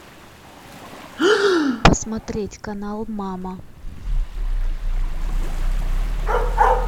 посмотреть канал мама